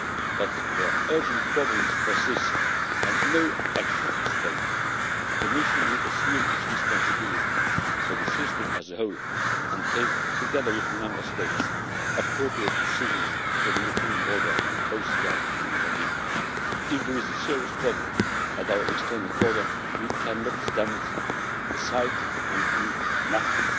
But where urgent problems persist and no action is taken, the Commission will assume its responsibility for the system as a whole and take together with the Member States appropriate decisions for the European Border and Coast Guard to intervene. If there is a serious problem at our external border, we cannot stand aside and do nothing.